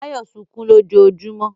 Báyọ̀ sunkún lójoojúmọ́.